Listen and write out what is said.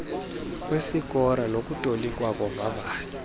kwesikora nokutolikwa kovavanyo